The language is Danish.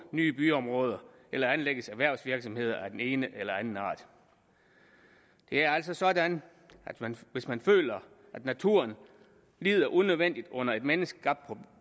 nye byområde eller anlægges erhvervsvirksomheder af den ene eller den anden art det er altså sådan at man hvis man føler at naturen lider unødvendigt under et menneskeskabt